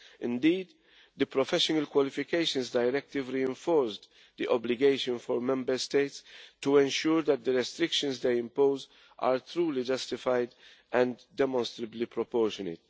Indeed, the Professional Qualifications Directive reinforced the obligation for Member States to ensure that the restrictions they impose are truly justified and demonstrably proportionate.